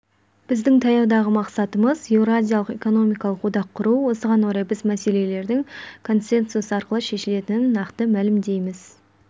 біздің таяудағы мақсатымыз еуразиялық экономикалық одақ құру осыған орай біз мәселелердің консенсус арқылы шешілетінін нақты мәлімдейміз